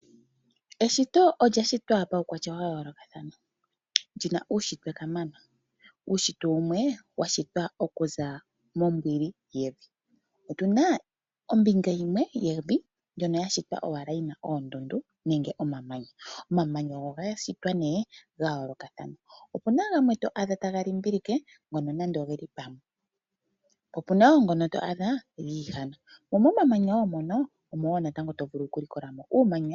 Eshito olya shitwa paukwatya wa yoolokathana lina uushitwe kamana. Uushitwe wumwe washitwa okuza mombwili yevi. Otuna ombinga yimwe yevi ndjono yashitwa owala yina oondundu nenge omamanya. Omamanya oga shitwa nee gayoolokathana opuna gamwe to adha taga limbilike ngono nando ogeli pamwe, po puna wo ngono to adha giihana, mo momamanya wo mono omo tovulu okulikola mo uumanya.